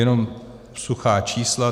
Jenom suchá čísla.